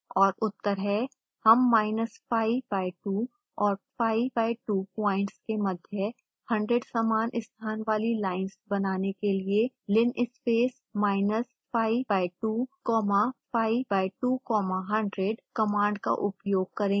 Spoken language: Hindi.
और उत्तर हैं